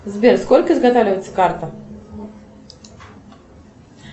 сбер сколько изготавливается карта